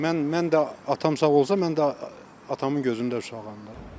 Mən mən də atam sağ olsa, mən də atamın gözündə uşağam da.